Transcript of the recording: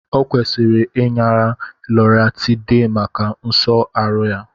Ọ kwesịrị inara Loratiday maka nso aru ya